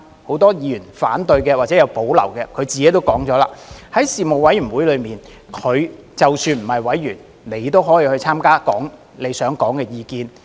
很多反對或有保留的議員自己也說了，即使不是委員也可以參加事務委員會的會議，說出他想說的意見。